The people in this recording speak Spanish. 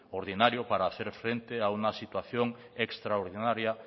ordinario para hacer frente a una situación extraordinaria